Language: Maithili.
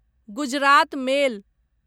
गुजरात मेल